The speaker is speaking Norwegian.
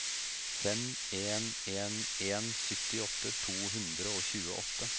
fem en en en syttiåtte to hundre og tjueåtte